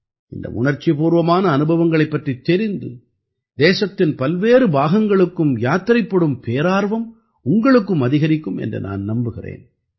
இந்த உணர்ச்சிப்பூர்வமான அனுபவங்களைப் பற்றித் தெரிந்து தேசத்தின் பல்வேறு பாகங்களுக்கும் யாத்திரைப்படும் பேரார்வம் உங்களுக்கும் அதிகரிக்கும் என்று நான் நம்புகிறேன்